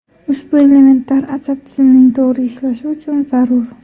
Ushbu elementlar asab tizimining to‘g‘ri ishlashi uchun zarur.